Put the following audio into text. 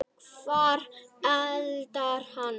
Hvar endar hann?